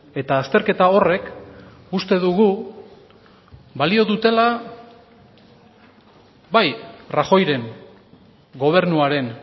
eta azterketa horrek uste dugu balio dutela bai rajoyren gobernuaren